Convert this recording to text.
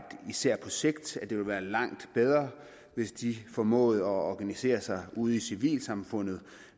især på sigt ville være langt bedre hvis de formåede at organisere sig ude i civilsamfundet